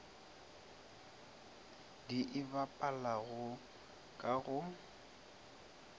di e bapalago ka go